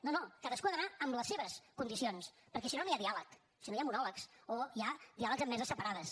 no no cadascú ha d’anar amb les seves condicions perquè si no no hi ha diàleg si no hi ha monòlegs o hi ha diàlegs en meses separades